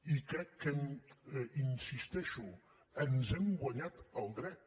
i crec que hi insisteixo ens hem guanyat el dret